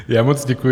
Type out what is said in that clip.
Já moc děkuji.